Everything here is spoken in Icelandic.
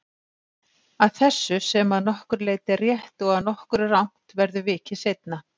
Að þessu, sem að nokkru leyti er rétt og að nokkru rangt, verður vikið seinna.